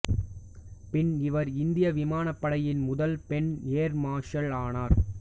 பின்னர் இவர் இந்திய விமானப்படையின் முதல் பெண் ஏர் மார்ஷல் ஆனார்